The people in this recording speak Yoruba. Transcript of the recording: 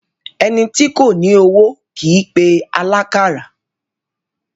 Ẹni tí kò ní owó kìí pe alákàrà